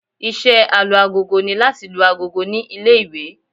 Iṣẹ́ Alu-agogo ni láti lu agogo ní ilé-ìwé